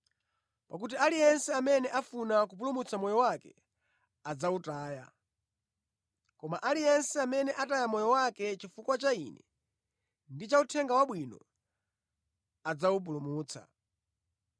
Pakuti aliyense amene afuna kupulumutsa moyo wake adzawutaya, koma aliyense amene ataya moyo wake chifukwa cha Ine ndi cha Uthenga Wabwino, adzawupulumutsa.